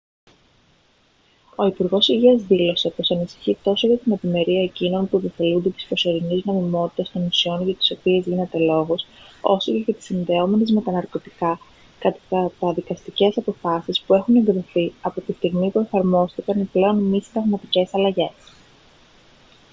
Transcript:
ο υπουργός υγείας δήλωσε πως ανησυχεί τόσο για την ευημερία εκείνων που επωφελούνται της προσωρινής νομιμότητας των ουσιών για τις οποίες γίνεται λόγος όσο και για τις συνδεόμενες με τα ναρκωτικά καταδικαστικές αποφάσεις που έχουν εκδοθεί από τη στιγμή που εφαρμόστηκαν οι πλέον μη συνταγματικές αλλαγές